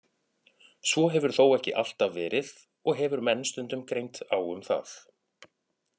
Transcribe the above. Svo hefur þó ekki alltaf verið og hefur menn stundum greint á um það.